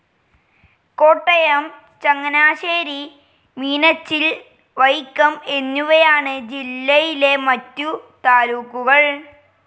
കോട്ടയം, ചങ്ങനാശ്ശേരി, മീനച്ചിൽ, വൈക്കം എന്നിവയാണ് ജില്ലയിലെ മറ്റു താലൂക്കുകൾ.